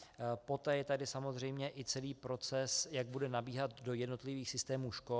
Poté je tady samozřejmě i celý proces, jak bude nabíhat do jednotlivých systémů škol.